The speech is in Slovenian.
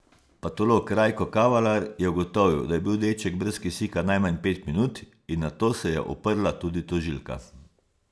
Patolog Rajko Kavalar je ugotovil, da je bil deček brez kisika najmanj pet minut in na to se je oprla tudi tožilka.